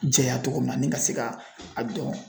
Jɛya cogo min na , ni ka se ka a dɔn.